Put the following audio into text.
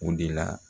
O de la